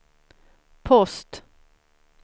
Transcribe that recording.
post